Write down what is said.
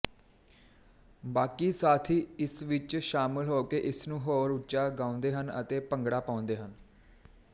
ਬਾਕੀ ਸਾਥੀ ਇਸ ਵਿੱਚ ਸ਼ਾਮਲ ਹੋਕੇ ਇਸਨੂੰ ਹੋਰ ਉੱਚਾ ਗਾਓੰਦੇ ਹਨ ਅਤੇ ਭੰਗੜਾ ਪਾਓੰਦੇ ਹਨ